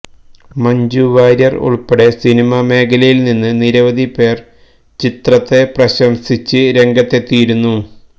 മഞ്ജു വാര്യര് ഉള്പ്പടെ സിനിമ മേഖലയില് നിന്ന് നിരവധിപേര് ചിത്രത്തെ പ്രശംസിച്ച് രംഗത്തെത്തിയിരുന്നു